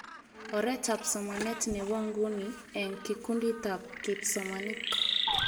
Oretab somanet nebo nguni eng kikunditab kipsomanink